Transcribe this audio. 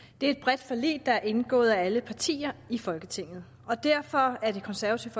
det er et bredt forlig der er indgået af alle partier i folketinget og derfor er det konservative